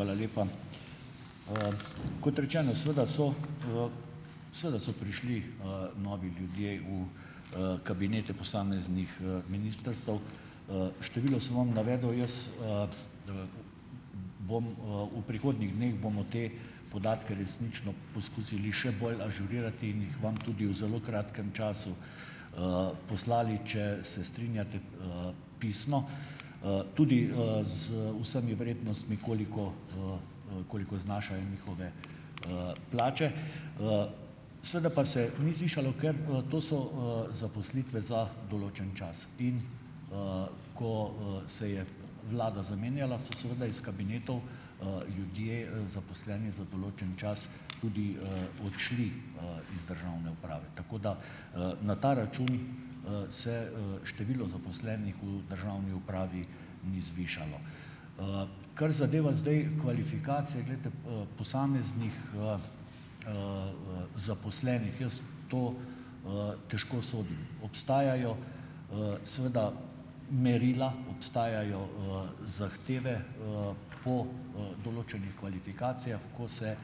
Up. Hvala lepa. Kot rečeno, seveda, so, seveda so prišli, novi ljudje v, kabinete posameznih, ministrstev. Število sem vam navedel. Jaz ... bom, v prihodnjih dneh bomo te podatke resnično poskusili še bolj ažurirati in jih vam tudi v zelo kratkem času, poslali, če se strinjate, pisno. Tudi, z vsemi vrednostmi, koliko, koliko znašajo njihove, plače. Seveda pa se ni zvišalo, ker, to so, zaposlitve za določen čas. In, ko, se je vlada zamenjala, so seveda iz kabinetov, ljudje, zaposleni za določen čas tudi, odšli, iz državne uprave. Tako da ... Na ta račun, se, število zaposlenih v državni upravi ni zvišalo. Kar zadeva zdaj kvalifikacije, glejte, posameznih, zaposlenih. Jaz to, težko sodim. Obstajajo, seveda merila, obstajajo, zahteve, po, določenih kvalifikacijah, ko se,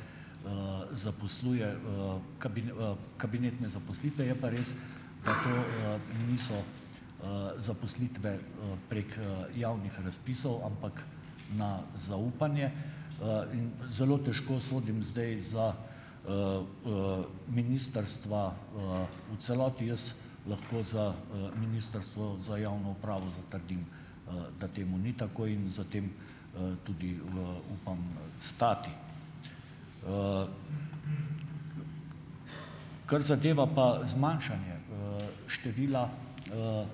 zaposluje, kabinetne zaposlitve. Je pa res, da to, niso, zaposlitve, prek, javnih razpisov, ampak na zaupanje. In zelo težko sodim zdaj za, ministrstva, v celoti. Jaz lahko za, Ministrstvo za javno upravo zatrdim, da temu ni tako in za tem, tudi, upam, stati. Kar zadeva pa zmanjšanje, števila,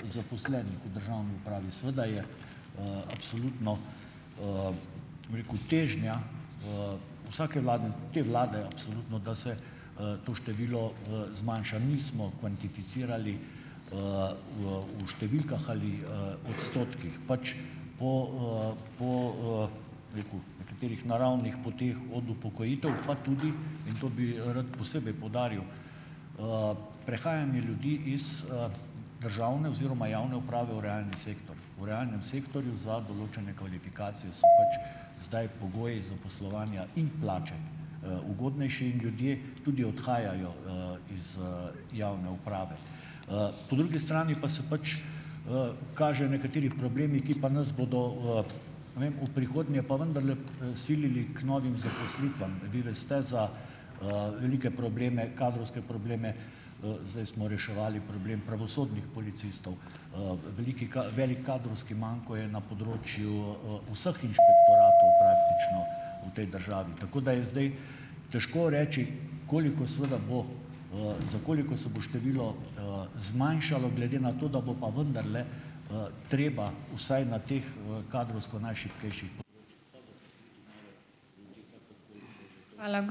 zaposlenih v državni upravi - seveda je, absolutno, bom rekel, težnja, vsake vlade, te vlade absolutno, da se, to število, zmanjša. Nismo kvantificirali, v v številkah ali, odstotkih. Pač po, po, bi rekel, nekaterih naravnih poteh od upokojitev pa tudi - in to bi, rad posebej poudaril - prehajanje ljudi iz, državne oziroma javne uprave v realni sektor. V realnem sektorju za določene kvalifikacije so pač zdaj pogoji zaposlovanja in plače, ugodnejši in ljudje tudi odhajajo, iz, javne uprave. Po drugi strani pa se pač, kažejo nekateri problemi, ki pa nas bodo, ne vem, v prihodnje pa vendarle p, silili k novim zaposlitvam. Vi veste za, velike probleme, kadrovske probleme. Zdaj smo reševali problem pravosodnih policistov. Veliki veliko kadrovski manko je na področju, vseh inšpektoratov praktično, v tej državi, tako da je zdaj težko reči, koliko seveda bo, za koliko se bo število, zmanjšalo, glede na to, da bo pa vendarle, treba vsaj na teh, kadrovsko najšibkejših p ...